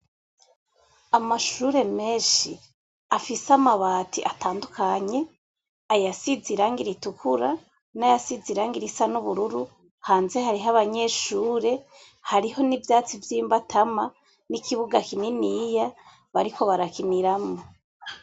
Amashure menshi, afise amabati atandukanye, ayasize irange ritukura, n'ayasize irane risa n'ubururu, hanze hariho abanyeshure, hariho n'ivyatsi vy'imbatama, n'ikibuga kininiya bariko barakimiramwo.